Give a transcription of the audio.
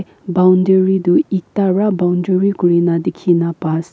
boundary toh eta ra boundary kurina dikhina pa as--